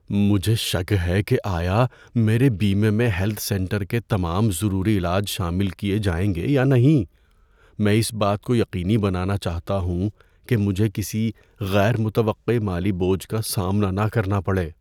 مجھے شک ہے کہ آیا میرے بیمے میں ہیلتھ سینٹر کے تمام ضروری علاج شامل کیے جائیں گے یا نہیں۔ میں اس بات کو یقینی بنانا چاہتا ہوں کہ مجھے کسی غیر متوقع مالی بوجھ کا سامنا نہ کرنا پڑے۔